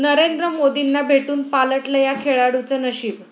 नरेंद्र मोदींना भेटून पालटलं या खेळाडूचं नशीब